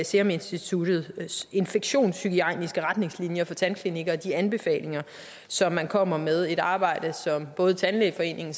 seruminstituttets infektionshygiejniske retningslinjer for tandklinikker og de anbefalinger som man kommer med et arbejde som både tandlægeforeningen